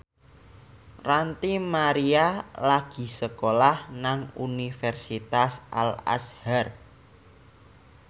Ranty Maria lagi sekolah nang Universitas Al Azhar